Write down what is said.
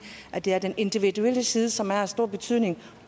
at det er den individuelle side som har stor betydning